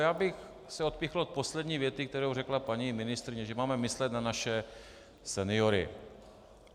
Já bych se odpíchl od poslední věty, kterou řekla paní ministryně, že máme myslet na naše seniory.